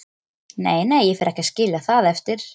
Nei, nei, ég fer ekki að skilja það eftir.